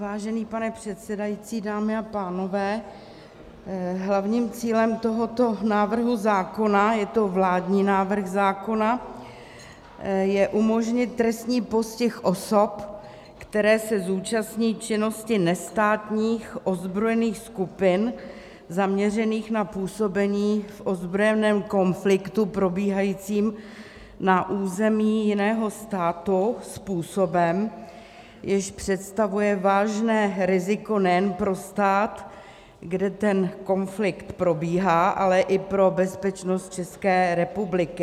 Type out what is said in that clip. Vážený pane předsedající, dámy a pánové, hlavním cílem tohoto návrhu zákona - je to vládní návrh zákona - je umožnit trestní postih osob, které se zúčastní činnosti nestátních ozbrojených skupin zaměřených na působení v ozbrojeném konfliktu probíhajícím na území jiného státu způsobem, jenž představuje vážné riziko nejen pro stát, kde ten konflikt probíhá, ale i pro bezpečnost České republiky.